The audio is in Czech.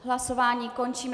Hlasování končím.